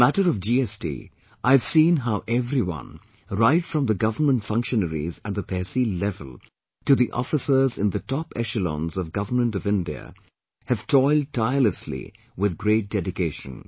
In the matter of GST I have seen how everyone, right from the Government functionaries at the Tehsil level to the officers in the top echelons of Government of India have toiled tirelessly with great dedication